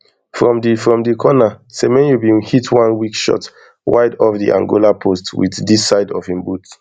from di from di corner semenyo bin hit one weak shot wide off di angola post wit di side of im boot